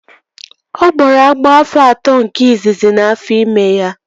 Ọ gbọrọ agbọ afọ atọ izizi nke afọ ime ya